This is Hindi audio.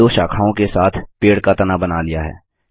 आपने दो शाखाओं के साथ पेड़ का तना बना लिया है